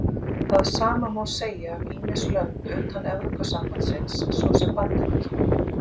Það sama má segja um ýmis lönd utan Evrópusambandsins, svo sem Bandaríkin.